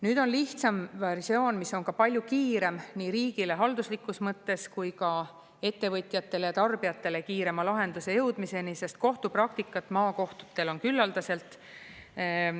Nüüd on lihtsam versioon, mis on palju kiirem nii riigile halduslikus mõttes kui ka ettevõtjatele ja tarbijatele kiirema lahenduse jõudmiseni, sest kohtupraktikat maakohtutel on küllaldaselt.